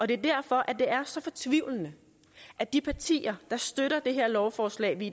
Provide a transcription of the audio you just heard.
det er derfor at det er så fortvivlende at de partier der støtter det her lovforslag vi